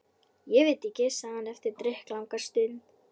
Ég veit ekki. sagði hann eftir drykklanga stund.